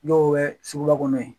Dɔw bɛ suguba kɔnɔ ye